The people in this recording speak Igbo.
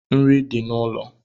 Nri di n’ulo